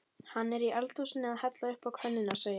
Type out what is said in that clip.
Hann er í eldhúsinu að hella uppá könnuna segir